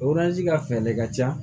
ka fɛɛrɛ de ka ca